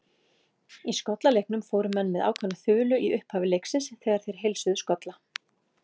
Í skollaleiknum fóru menn með ákveðna þulu í upphafi leiksins þegar þeir heilsuðu skolla.